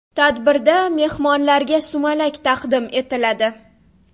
Tadbirda mehmonlarga sumalak taqdim etiladi.